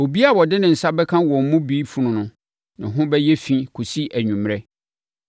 Obiara a ɔde ne nsa bɛka wɔn mu bi funu no ho bɛyɛ fi kɔsi anwummerɛ